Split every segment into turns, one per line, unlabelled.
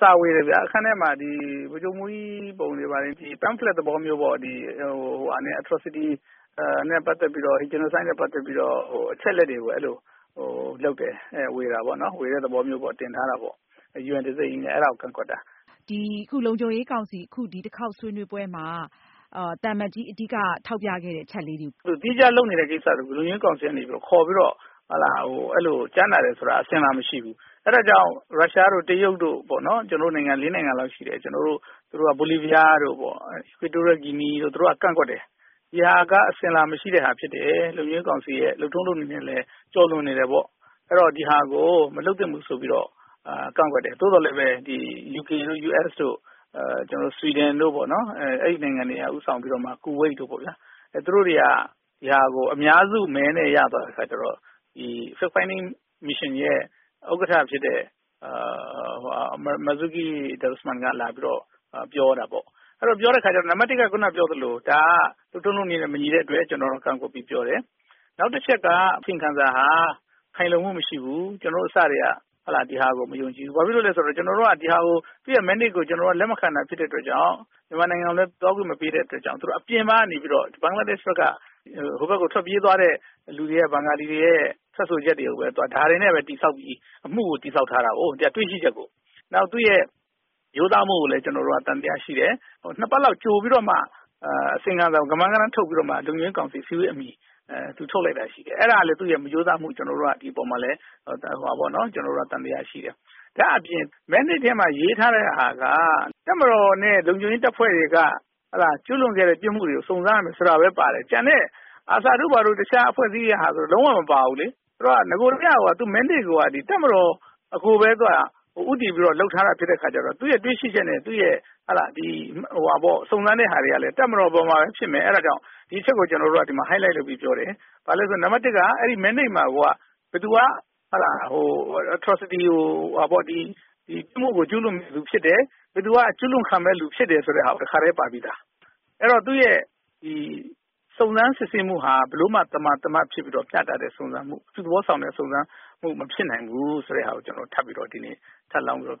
စာဝေတယ်ခင်ဗျာ။ အခန်းထဲမှာ ဗိုလ်ချုပ်မှုးကြီး ပုံတွေနဲ့ လက်ကမ်းစာစောင်တွေထဲမှာ Atrocities နဲ့ ပတ်သက်ပြီးတော့ genocide နဲ့ပတ်သက်ပြီးတော့ အချက်အလက်တွေကို လုပ်တယ်။ ဝေတာပေါ့။ ဝေတဲ့သဘောမျိုး တင်ထားတာပေါ့။ UN တံဆိပ်ကြီးနဲ့ အဲ့တာကို ကန့်ကွက်တာ။
လုံခြုံရေးကောင်စီ ဒီတခေါက် ဆွေးနွေးပွဲမှာ သံအမတ်ကြီး အဓိက ထောက်ပြခဲ့တဲ့ အချက်လေးတွေကို ပြောပြပေးပါ။
သီးခြားလုပ်နေတဲ့ ကိစ္စလေးတွေကို လုံခြုံရေးကောင်စီကနေခေါ်ပြီးတော့ ကြားနာတယ်ဆိုတာ အစဉ်အလာမရှိဘူး။ အဲ့တာကြောင့် ရုရှားတို့ တရုတ်တို့ လေးနိုင်ငံလောက်ရှိတယ် သူတို့က ကန့်ကွက်တယ်။ ဒီဟာ ဟာ အစဉ်အလာမရှိတဲ့ဟာဖြစ်တယ်။ လုံခြုံရေးကောင်စီရဲ့ လုပ်ထုံးလုပ်နည်းနဲ့လည်း ကျော်လွန်နေတယ်။ အဲ့တော့ ဒီဟာကို မလုပ်သင့်ဘူးဆိုပြီးတော့လည်း ကန့်ကွက်တယ်။ သို့သော်လည်းပဲ UK တို့ US တို့ ဆွီဒင်တို့ အဲ့ဒီ့နိုင်ငံတွေက ဦးဆောင်ပြီးတော့မှ ကူဝိတ်တို့ပေါ့ဗျာ သူတို့တွေက ဒီဟာကို အများစုမဲနဲ့ ရသွားတဲ့အခါကျတော့ fact-finding mission ရဲ့ ဥက္ကဋ္ဌဖြစ်တဲ့ Marzuki Darusman က လာပြီးတော့ ပြောတာပေါ့။ အဲ့တော့ ပြောတဲ့အခါကျတော့ နံပတ်တစ်-ခုနက ပြောသလို ဒါက လုပ်ထုံးလုပ်နည်းနဲ့မညီတဲ့အတွက် ကျနော်တို့ ကန့်ကွက်ပြီးပြောတယ်။ နောက်တချက်က ဒီအစီရင်ခံစာဟာ ခိုင်လုံမှု မရှိဘူး။ ကျနော်တို့ အစကတည်းက ဒီဟာကို မယုံကြည်ဘူး။ ကျနော်တို့က သူ့ရဲ့ Mandate ကို လက်မခံတဲ့အတွက်ကြောင့် မြန်မာနိုင်ငံကိုလည်း သွားခွင့်မပေးတဲ့အတွက်ကြောင့် သူတို့က အပြင်ကနေပြီးတော့ ဘင်္ဂလားဒေ့ရှ်ဘက်ကနေ ဟိုဘက်ကို ထွက်ပြေးသွားတဲ့သူတွေ ဘင်္ဂလီတွေရဲ့ ထွက်ဆိုချက်တွေနဲ့ ဒါတွေနဲ့ပဲ တည်ဆောက်ပြီး အမှုကို တည်ဆောက်ထားတာကိုး။ တွေ့ရှိချက်ကို ။ နောက် သူ့ရဲ့ ရိုးသားမှုကိုလည်း ကျနော်တို့က သံသယရှိတယ်။ နှစ်ပတ်လောက် ကြိုပြီးတော့မှ အစီရင်ခံစာကို ကမန်းကတမ်း ထုတ်ပြီးတော့မှ လုံခြုံရေးကောင်စီ အစည်းအဝေးအမှီ သူထုတ်လိုက်တာရှိတယ်။ အဲ့တာမှာ သူ့ရဲ့ မရိုးသားမှုကို ဒီအပေါ်မှာ သံသယရှိတယ်။ ဒါ့အပြင် ရေးထားတဲ့ဟာက တပ်မတော်နဲ့ လုံခြုံရေးတပ်ဖွဲ့တွေက ကျူးလွန်ခဲ့တဲ့ ပြစ်မှုတွေကို စုံစမ်းရမယ်ဆိုတာပဲ ပါတယ်။ ကျန်တဲ့ ARSA တခြားအဖွဲ့အစည်းတွေဟာဆို လုံးဝကို မပါဘူးလေ နဂိုကတည်းက သူ့ရဲ့ Mandate ကိုက တပ်မတော်ကိုပဲ ဦးတည်ပြီး လုပ်ထားတာဖြစ်တဲ့အခါကျတော့ သူ့ရဲ့တွေ့ရှိချက်နဲ့ စုံစမ်းတဲ့ဟာတွေကလည်း တပ်မတော်အပေါ်မှာပဲဖြစ်နေတော့ ဒီအချက်ကို ကျနော်တို့က highlight လုပ်ပြီးပြောတယ်။ ဘာကြောင့်လဲဆိုတော့ နံပတ်တစ်က Mandate မှာကိုက ဘယ်သူက Atrocities ကို ပြစ်မှုကို ကျူးလွန်တဲ့သူဖြစ်တယ်။ ဘယ်သူက အကျူးလွန်ခံခဲ့တဲ့သူဖြစ်တယ်ဆိုတာကိုပဲ တခါတည်း ပါပြီးသား။ ဆိုတော့ သူ့ရဲ့ စုံစမ်းစစ်ဆေးမှုဟာ ဘယ်လိုမှ သမာသမတ်ဖြစ်ပြီးတော့ မျှတတဲ့ စုံစမ်းစစ်ဆေးမှု အပြုသဘောဆောင်တဲ့ စုံစမ်းမှုမဖြစ်နိုင်ဘူးဆိုတာ ကျနော်တို့ ထပ်လောင်းပြီးတော့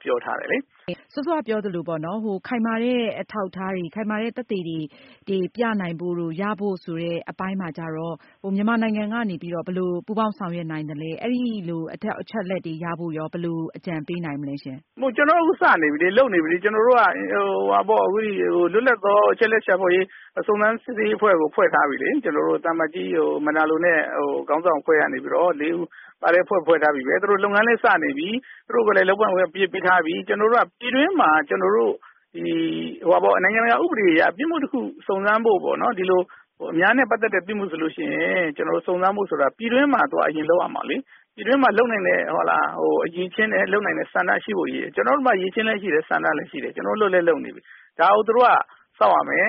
ပြောထားတယ်လေ။
ဟုတ်ကဲ့ စောစောကပြောသလိုပေါ့နော် ခိုင်မာတဲ့အထောက်အထားတွေ၊ ခိုင်မာတဲ့သက်သေတွေ ပြနိုင်ဖို့တို့ ရဖို့တို့ဆိုတဲ့ အပိုင်းမှာကျတော့ မြန်မာနိုင်ငံကနေပြီးတော့ မြန်မာနိုင်ငံကနေပြီးတော့ ဘယ်လိုပူးပေါင်းဆောင်ရွက်နိုင်သလဲ။ အဲ့ဒီ့လိုအချက်အလက်တွေ ရဖို့ရော ဘယ်လို အကြံပေးနိုင်မလဲရှင့်။
မဟုတ်ဘူး။ ကျနေ်ာတို့ အခုစနေပြီလေ လုပ်နေပြီလေ။ ကျနော်တို့က လွတ်လပ်သော အချက်အလက်ရှာဖွေရေး ၊ စုံစမ်းစစ်ဆေးရေးအဖွဲ့ကို ဖွဲ့ထားပြီးပြီလေ။ ကျနေ်ာတို့ သံအမတ်ကြီး Rosario Manalo နဲ့ ခေါင်းဆောင်အဖွဲ့ကနေပြီးတော့ လေးဦးပါတဲ့ အဖွဲ့ ဖွဲ့ထားပြီးပြီပဲ။ သူတို့လုပ်ငန်းလည်း စနေပြီ။ သူတို့ လုပ်ငန်းလည်း စနေပြီ သူတို့ကိုလည်း လုပ်ပိုင်ခွင့်ပေးထားပြီ။ ကျနော်တို့ ပြည်တွင်းမှာ နိုင်ငံတကာဥပဒေအရ ပြစ်မှုတခုကို စုံစမ်းဖို့ ဒီလိုအများနဲ့ပတ်သက်တဲ့ ပြစ်မှုကို စုံစမ်းဖို့ဆိုတာ ပြည်တွင်းမှာ အရင်လုပ်ရမှာလေ။ ပြည်တွင်းမှာ လုပ်နိုင်တဲ့အရည်အချင်းနဲ့ လုပ်နိုင်တဲ့ဆန္ဒရှိဖို့ လိုတယ်။ ကျနော်တို့မှာ လုပ်နိုင်တဲ့ အရည်အချင်းလည်းရှိတယ် ဆန္ဒလည်းရှိတယ်။ ကျနော်တို့က လုပ်လည်းလုပ်နေပြီ ဒါကို သူတို့က စောင့်ရမယ်